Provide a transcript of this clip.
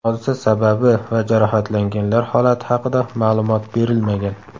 Hodisa sababi va jarohatlanganlar holati haqida ma’lumot berilmagan.